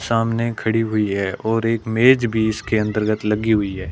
सामने खड़ी हुई है और एक मेज़ भी इसके अंतर्गत लगी हुई है।